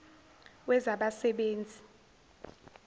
wezabasebenzi